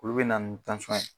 Olu bina ni ye